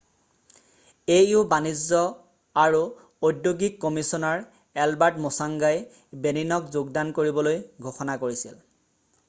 au বাণিজ্য আৰু ঔদ্যোগিক কমিছনাৰ এলবাৰ্ট মোচংগাই বেনিনক যোগদান কৰিবলৈ ঘোষণা কৰিছিল